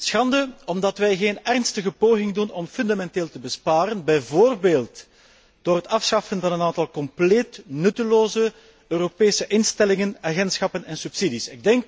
Schande omdat wij geen ernstige poging ondernemen om fundamenteel te besparen, bijvoorbeeld door het afschaffen van een aantal compleet nutteloze Europese instellingen, agentschappen en subsidies.